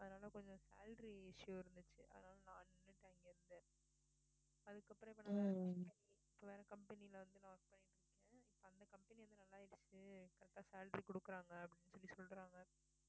அதனால கொஞ்சம் salary issue இருந்துச்சு அதனால நான் நின்னுட்டேன் அங்கயிருந்து அதுக்கப்புறம் இப்ப வேற company ல வந்து பண்ணிட்டு இருந்தேன் இப்ப அந்த company வந்து நல்லாயிருச்சு correct ஆ salary குடுக்கறாங்க அப்படின்னு சொல்லி சொல்றாங்க.